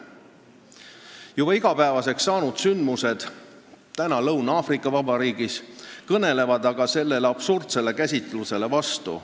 Juba igapäevaseks saanud sündmused Lõuna-Aafrika Vabariigis kõnelevad aga selle absurdse käsitluse vastu.